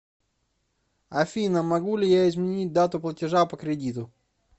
афина могу ли я изменить дату платежа по кредиту